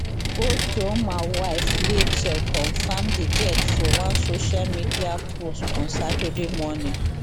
otuoma wife racheal confam di death for one social media post on saturday morning